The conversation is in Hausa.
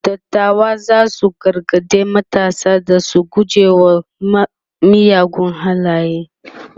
dattawan zasu gargaɗi matasa da su guje wa miyagun halaye